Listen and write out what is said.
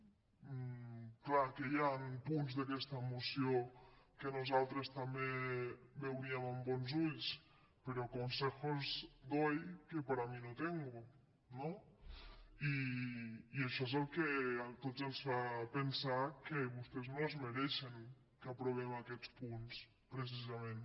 és clar que hi han punts d’aquesta moció que nosaltres també veuríem amb bons ulls però consejos doy que para mí no tengo no i això és el que a tots ens fa pensar que vostès no es mereixen que aprovem aquests punts precisament